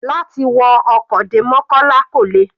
Láti wọ ọkọ̀ dé mokola kò le.